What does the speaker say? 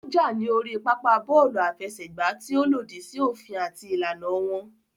Ó jà ní orí pápá bọ́ọ̀lù àfẹsẹ̀gbá tí ó lòdì sí òfin àti ìlànà wọn